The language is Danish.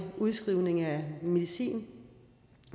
udskrivning af medicin